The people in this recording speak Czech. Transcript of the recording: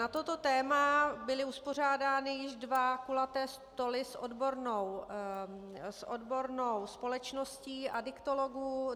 Na toto téma byly uspořádány již dva kulaté stoly s odbornou společností adiktologů.